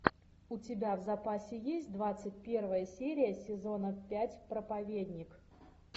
у тебя в запасе есть двадцать первая серия сезона пять проповедник